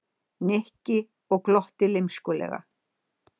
Nikki og glotti lymskulega.